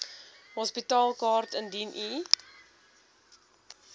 hospitaalkaart indien u